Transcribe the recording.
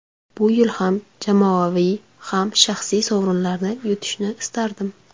Bu yil ham jamoaviy, ham shaxsiy sovrinlarni yutishni istardim.